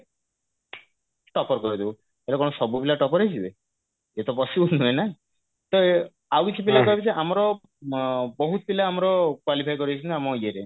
topper କରେଇଦବୁ ଆରେ କଣ ସବୁ ପିଲା topper ହେଇଯିବେ ଏ ତ possible ନୁହେଁ ନା ତ ଆଉ କିଛି ପିଲା କହିବେ ଯେ ଆମର ଅ ବହୁତ ପିଲା ଆମର qualify କରେଇଛନ୍ତି ଆମ ଇଏରେ